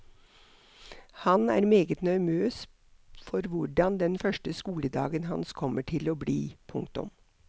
Han er meget nervøs for hvordan den første skoledagen hans kommer til å bli. punktum